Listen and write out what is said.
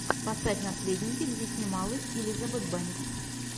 поставь наследники где снималась элизабет бэнкс